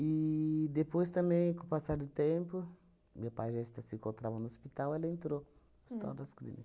E, depois também, com o passar do tempo, meu pai já está se encontrava no hospital ela entrou Hospital das Clínicas